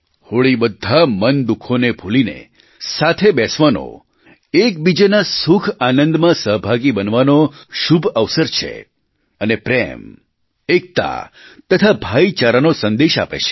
હોળી બધા મનદુઃખોને ભૂલીને સાથે બેસવાનો એકબીજાના સુખઆનંદમાં સહભાગી બનવાનો શુભ અવસર છે અને પ્રેમ એકતા તથા ભાઈચારાનો સંદેશ આપે છે